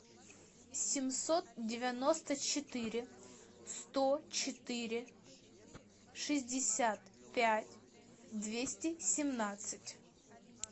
семьсот девяносто четыре сто четыре шестьдесят пять двести семнадцать